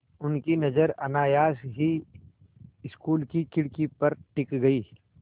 उनकी नज़र अनायास ही स्कूल की खिड़की पर टिक गई